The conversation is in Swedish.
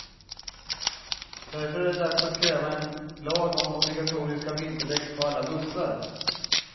Därför är det dags att kräva en lag om obligatoriska vinterdäck på alla bussar.